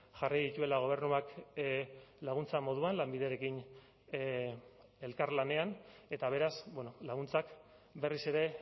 jarri dituela gobernuak laguntza moduan lanbiderekin elkarlanean eta beraz laguntzak berriz ere